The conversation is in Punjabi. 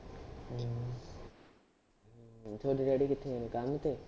ਤੁਹਾਡੇ daddy ਕਿੱਥੇ ਹੈ ਕੰਮ ਤੇ